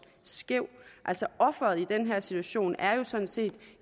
skæv offeret i den her situation er jo sådan set